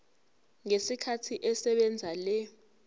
ngesikhathi esebenzisa le